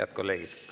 Head kolleegid!